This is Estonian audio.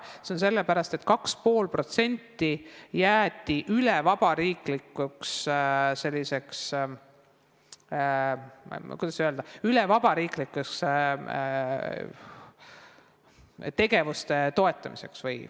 See on tekkinud sellepärast, et 2,5% jäeti üleriigiliseks tegevuste toetamiseks.